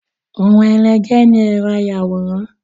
Ohun ẹlẹgẹ́ ni ẹ̀rọ ayàwòrán.